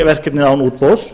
verkefni án útboðs